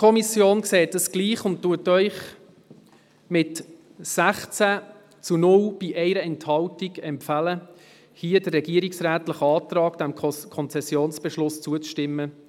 Die BaK sieht dies gleich und empfiehlt Ihnen mit 16 zu 0 Stimmen bei 1 Enthaltung, den regierungsrätlichen Antrag anzunehmen und dem Konzessionsbeschluss zuzustimmen.